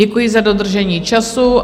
Děkuji za dodržení času.